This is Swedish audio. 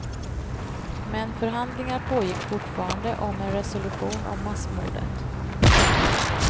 Men förhandlingar pågick fortfarande om en resolution om massmordet.